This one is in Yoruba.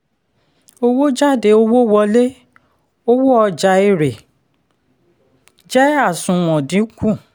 owó jade owó wole owó ọjà èrè jẹ àsùnwọ̀n dínkù.